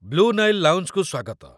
Blue Nile ଲାଉଞ୍ଜକୁ ସ୍ୱାଗତ।